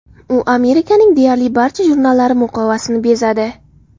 U Amerikaning deyarli barcha jurnallari muqovasini bezadi.